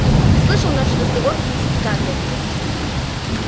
ты слышал наш разговор с миссис скарлетт